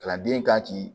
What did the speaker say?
Kalanden kan k'i